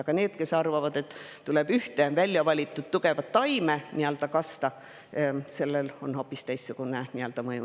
Aga on ka need, kes arvavad, et tuleb ühte välja valitud tugevat taime kasta, ja sellel on hoopis teistsugune mõju.